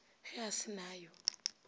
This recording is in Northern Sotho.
ge a se na yo